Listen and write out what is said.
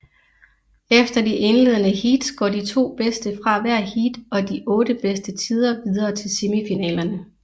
Efter de indledende heats går de to bedste fra hvert heat og de otte bedste tider videre til semifinalerne